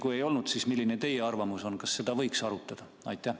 Kui ei ole olnud, siis milline on teie arvamus, kas seda võiks arutada?